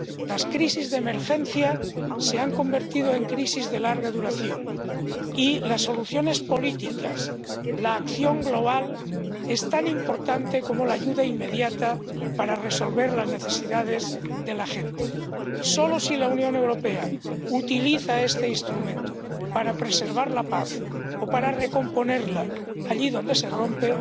Las crisis de emergencia se han convertido en crisis de larga duración y las soluciones políticas —la acción global— son tan importantes como la ayuda inmediata para resolver las necesidades de la gente. Solo si la Unión Europea utiliza este instrumento para preservar la paz o para recomponerla allí donde se rompe,